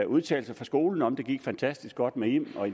udtalelse fra skolen om at det gik fantastisk godt med im og